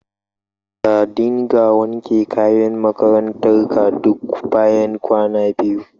Ka dinga wanke kayan makarantar ka duk bayan kwana biyu